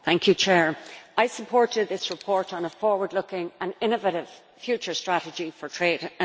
I supported this report on a forward looking and innovative future strategy for trade and investment.